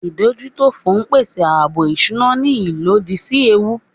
Ìdójútòfò ń pèsè ààbò ìṣúná ní ìlódì sí ewu